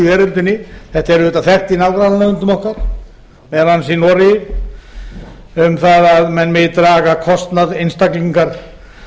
veröldinni þetta er auðvitað þekkt í nágrannalöndum okkar meðal annars í noregi um að menn megi draga kostnað einstaklingar